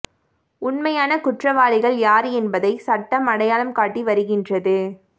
உண்மையான குற்றவாளிகள் யார் என்பதை சட்டம் அடையாளம் காட்டி வருகின்றது